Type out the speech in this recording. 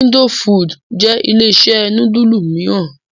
Indofood jẹ́ ilé-iṣẹ́ núdúlù mìíràn.